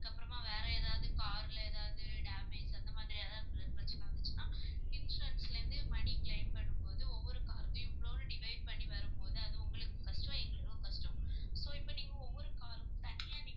அதுக்கப்புறமா வேற எதாவது car ல எதாவது damage அந்த மாதிரி ஏதாவது பிர~ பிரச்சினை வந்துச்சுன்னா insurance ல இருந்து money claim பண்ணும்போது ஒவ்வொரு car லயும் இவ்வளவுன்னு divide பண்ணி வரும்போது அது உங்களுக்கு கஷ்டம் எங்களுக்கும் கஷ்டம் so இப்ப நீங்க ஒவ்வொரு car க்கும் தனியா நீ~